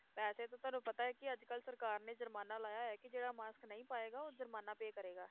ਵੈਸੇ ਤਾਂ ਤੁਹਾਨੂੰ ਪਤਾ ਹੈ ਕਿ ਅੱਜ ਕੱਲ੍ਹ ਸਰਕਾਰ ਨੇ ਜ਼ੁਰਮਾਨਾ ਲਾਇਆ ਹੈ ਕਿ ਜਿਹੜਾ mask ਨਹੀਂ ਪਾਏਗਾ, ਉਹ ਜ਼ੁਰਮਾਨਾ pay ਕਰੇਗਾ,